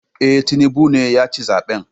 Eh, Tinubu ne yaci zaben